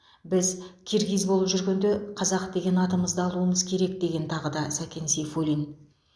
біз киргиз болып жүргенде қазақ деген атымызды алуымыз керек деген тағы да сәкен сейфуллин